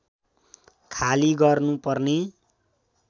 खाली गर्नुपर्ने